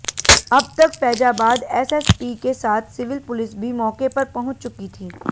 अब तक फैजाबाद एसएसपी के साथ सिविल पुलिस भी मौके पर पहुंच चुकी थी